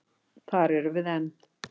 Þar erum við enn.